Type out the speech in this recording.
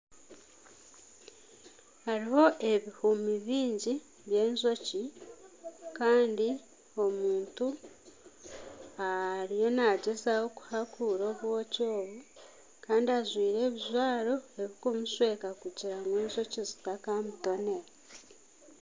Hariho ebihumi biingi by'enjoki Kandi omuntu ariyo nagyezaho kuhakuura obwoki obu Kandi ajwire ebijwaro ebikumushweka kugira ngu enjoki zitakamutonera.